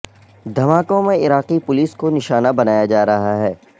دھماکوں میں عراقی پولیس کو نشانہ بنایا جارہا ہے